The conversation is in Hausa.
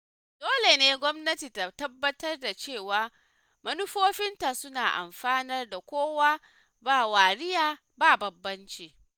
Dole ne gwamnati ta tabbatar da cewa manufofinta suna amfanar da kowa ba wariya ba bambanci.